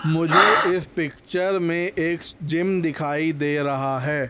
मुझे इस पिक्चर में एक जिम दिखाई दे रहा है।